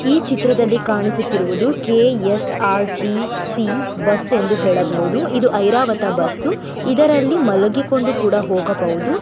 ಈ ಚಿತ್ರದಲ್ಲಿ ಕಾಣಿಸುತ್ತಿರುವುದು ಕೆ.ಎಸ್.ಆರ್.ಟಿ.ಸಿ ಬಸ್ಸ ಎಂದು ಹೇಳಬಹುದು ಇದು ಐರಾವತ ಬಸ್ಸು ಇದರಲ್ಲಿ ಮಲಗಿಕೊಂಡು ಕೂಡ ಹೋಗಬಹುದು.